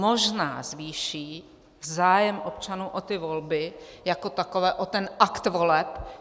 Možná zvýší zájem občanů o ty volby jako takové, o ten akt voleb.